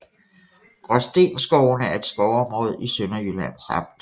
Gråstenskovene er et skovområde i Sønderjyllands amt